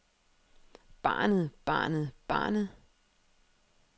banet banet banet